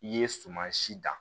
I ye suman si dan